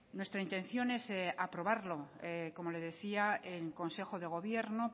nuestra intención es aprobarlo como le decía en consejo de gobierno